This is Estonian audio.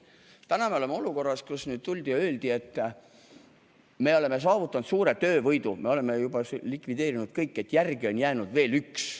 Nüüd me oleme olukorras, kus tuldi ja öeldi, et me oleme saavutanud suure töövõidu: me oleme likvideerinud kõik, järele on jäänud veel üks.